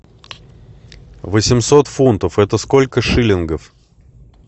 восемьсот фунтов это сколько шиллингов